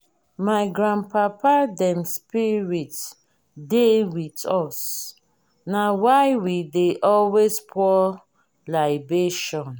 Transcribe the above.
our grandpapa dem spirit dey wit us na why we dey always pour libation.